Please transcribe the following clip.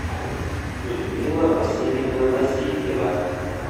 людмила васильевна васильева